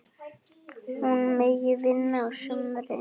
Finnur brosti.